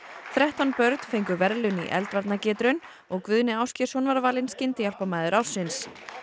þrettán börn fengu verðlaun í og Guðni Ásgeirsson var valinn ársins